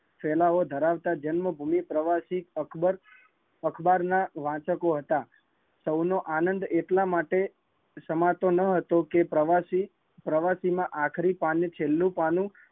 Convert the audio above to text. ફેલાવો ધરાવતા જન્મભૂમિ પ્રવાસી અકબર અખબાર ના વાચકો હતા. સૌનો આનંદ એટલા માટે સમાતો ના હતો કે પ્રવાસી, પ્રવાસી માં આખરી વાસી આખરી પાને છેલ્લું પાનું